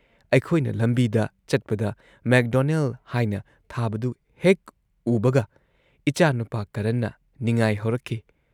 ꯑꯩꯈꯣꯏꯅ ꯂꯝꯕꯤꯗ ꯆꯠꯄꯗ McDonald ꯍꯥꯏꯅ ꯊꯥꯕꯗꯨ ꯍꯦꯛ ꯎꯕꯒ ꯏꯆꯥꯅꯨꯄꯥ ꯀꯔꯟꯅ ꯅꯤꯡꯉꯥꯏ ꯍꯧꯔꯛꯈꯤ꯫